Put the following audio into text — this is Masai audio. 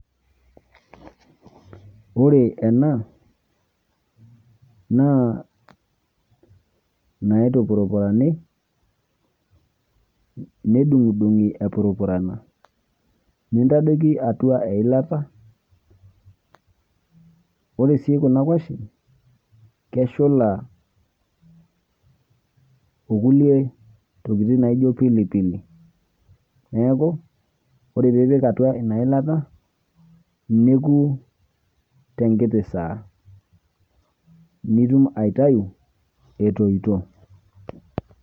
ore ena naa naitupurupurani, nedung'idung'i epurupurana. nintadoiki atua eilata. ore sii kuna kuashen keshulaokulie tokitin naijo pilipili. neeku ore pee ipik atua ina ilata neku tenkiti saa, nitum aitayu etoito.